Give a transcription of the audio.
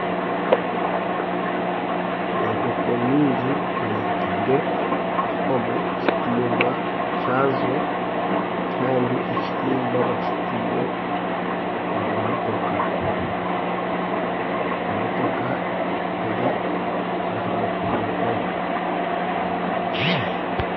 Enkooko nyingi bazitaire omu kitimba kyazo kandi ekitimba bakitaire omu motoka. Emotoka eri aha ruguuto.